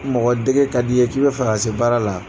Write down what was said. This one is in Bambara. Mɔgɔ dege ka d'i ye k'i bɛ fa ka se baara la